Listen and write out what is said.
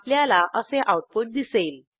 आपल्याला असे आऊटपुट दिसेल